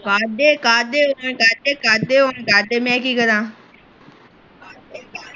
ਕਢਦੇ ਕਢਦੇ ਮੈ ਕੱਢਦੇ ਹੁਣ ਦਸਦੇ ਮੈ ਕੀ ਕਰਾ